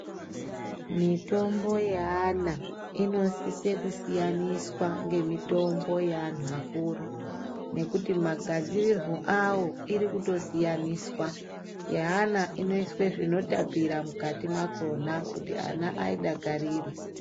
Mitombo ye ana inosise ku siyaniswa nge mitombo ye antu akuru nekuti ma gadzirirwo awo iri kuto siyaniswa ye ana ino iswe zvino tapira mukati mwakona kuti ana ayi dakarire.